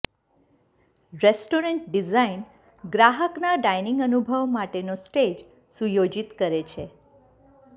restaurant design ગ્રાહકના dining અનુભવ માટેનો સ્ટેજ સુયોજિત કરે છે